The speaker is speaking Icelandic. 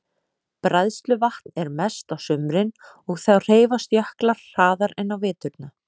Bræðsluvatn er mest á sumrin og þá hreyfast jöklar hraðar en á veturna.